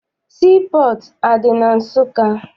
Sii pọọtụ adị na Nsụka?